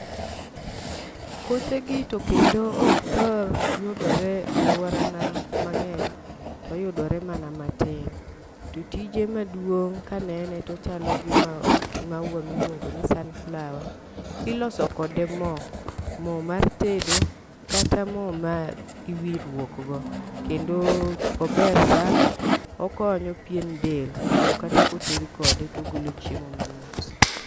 Kothe gi to kendo ok thor yudore aluora na mang'eny toyudore mana matin. To tije maduong' kaneno tochalo gi mau maua miluongo ni sunflower . Iloso kode moo, moo mar tedo kata moo ma iwiruok go kendo ober sana. Okonyo pien del kendo kata koted kode togolo chiemo mamit.